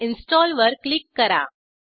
install वर click करा